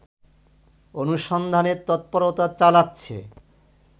অনুসন্ধানে তৎপরতা চালাচ্ছে